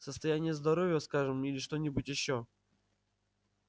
состояние здоровья скажем или что-нибудь ещё